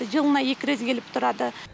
жылына екі рез келіп тұрады